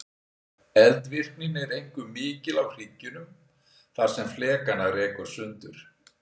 Eldvirknin er einkum mikil á hryggjunum þar sem flekana rekur sundur.